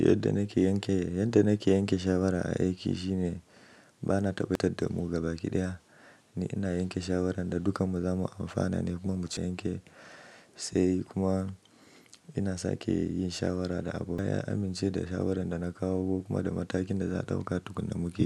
Yadda nake yanke, yadda nake yanke shawara a Aiki shine ba na tabbatar da mu gaba ɗaya. Ni ina yanke shawaran da dukanmu zamu amfana ne kuma mu ci yanke sai kuma ina sake yin shawara da Abu ya amince da shawaran da na kawo kuma da matakin da za a ɗauka duk da mu ke.